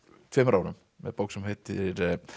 tveimur árum með bók sem heitir